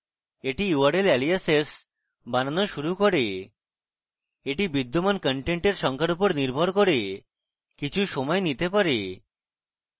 এটি url aliases বানানো শুরু করে এটি বিদ্যমান contents সংখ্যার উপর নির্ভর করে কিছু সময় নিতে পারে